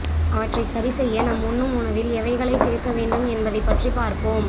அவற்றை சரி செய்ய நம் உண்ணும் உணவில் எவைகளை சேர்க்க வேண்டும் என்பதை பற்றி பார்ப்போம்